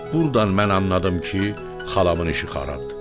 Burdan mən anladım ki, xalamın işi xarabdır.